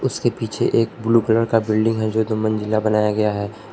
उसके पीछे एक ब्लू कलर का बिल्डिंग है जो दो मंजिला बनाया गया है।